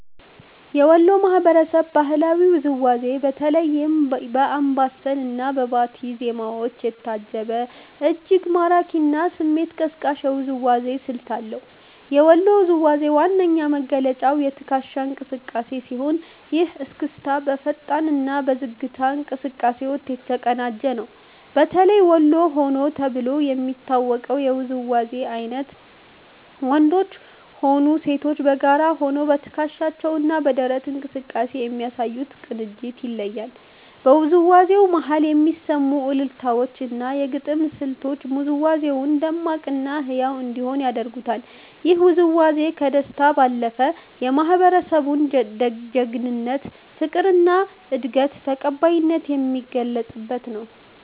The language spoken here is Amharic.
የወሎ ማህበረሰብ በባህላዊ ውዝዋዜው በተለይም በአምባሰል እና በባቲ ዜማዎች የታጀበ፤ እጅግ ማራኪ እና ስሜት ቀስቃሽ የውዝዋዜ ስልት አለው። የወሎ ውዝዋዜ ዋነኛ መገለጫው የትከሻ እንቅስቃሴ ሲሆን፤ ይህ እስክስታ በፈጣን እና በዝግታ እንቅስቃሴዎች የተቀናጀ ነው። በተለይ ወሎ ሆዬ ተብሎ የሚታወቀው የውዝዋዜ አይነት ወንዶችም ሆኑ ሴቶች በጋራ ሆነው በትከሻቸው እና በደረት እንቅስቃሴ በሚያሳዩት ቅንጅት ይለያል። በውዝዋዜው መሃል የሚሰሙት አልልታዎች እና የግጥም ስልቶች ውዝዋዜው ደማቅ እና ህያው እንዲሆን ያደርጉታል። ይህ ውዝዋዜ ከደስታ ባለፈ፣ የማህበረሰቡን ጀግንነት፣ ፍቅር እና እንግዳ ተቀባይነት የሚገልጽበት ነው።